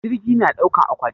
Jirgi na ɗaukan akwati?